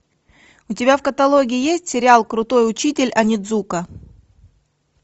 у тебя в каталоге есть сериал крутой учитель онидзука